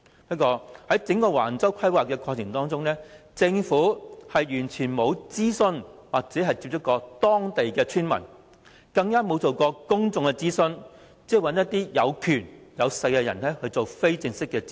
不過，在整個橫洲規劃的過程中，政府完全沒有與當地村民接觸，更加沒有諮詢公眾，只是找權勢人士進行非正式諮詢。